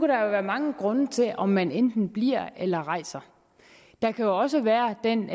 der være mange grunde til om man enten bliver eller rejser der kan også være den